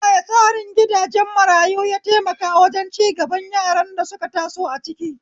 Ta yaya tsarin gidajen marayu ya taimaka wajen cigaban yaran da suka taso a ciki?